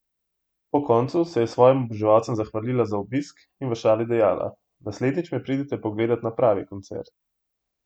Po koncu se je svojim oboževalcem zahvalila za obisk in v šali dejala: "Naslednjič me pridite pogledat na pravi koncert.